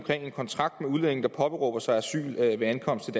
en kontrakt med de udlændinge der påberåber sig asyl ved ankomsten